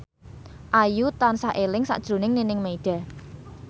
Ayu tansah eling sakjroning Nining Meida